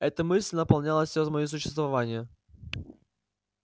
эта мысль наполняла все моё существование